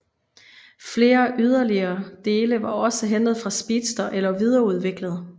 Flere yderligere dele var også hentet fra Speedster eller videreudviklet